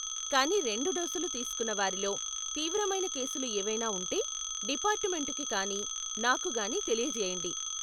కానీ రెండు డోసులు తీసుకున్న వారిలో తీవ్రమైన కేసులు ఏవైనా ఉంటే డిపార్టుమెంటుకి కానీ నాకు కానీ తెలియజేయండి.